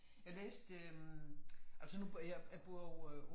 Jeg læste øh altså nu bor jeg jeg bor jo øh